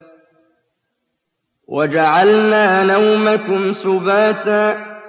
وَجَعَلْنَا نَوْمَكُمْ سُبَاتًا